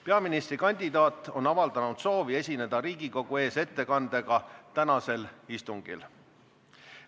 Peaministrikandidaat on avaldanud soovi esineda Riigikogu ees ettekandega tänasel istungil.